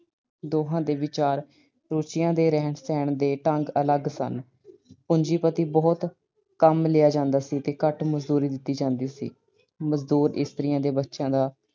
ਦੋਹਾਂ ਦੇ ਵਿਚਾਰ, ਰੁਚੀਆਂ ਤੇ ਰਹਿਣ-ਸਹਿਣ ਦੇ ਢੰਗ ਅਲੱਗ-ਅਲੱਗ ਸਨ। ਪੂੰਜੀਪਤੀ ਬਹੁਤ ਕੰਮ ਲਿਆ ਜਾਂਦਾ ਸੀ ਤੇ ਘੱਟ ਮਜਦੂਰੀ ਦਿੱਤੀ ਜਾਂਦੀ ਸੀ। ਮਜ਼ਦੂਰ ਇਸਤਰੀ ਦੇ ਬੱਚਿਆਂ ਦਾ